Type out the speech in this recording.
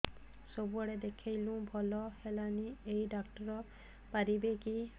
ସବୁଆଡେ ଦେଖେଇଲୁ ଭଲ ହେଲାନି ଏଇ ଡ଼ାକ୍ତର ପାରିବେ କି